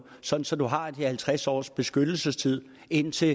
sådan så man har de halvtreds års beskyttelsestid indtil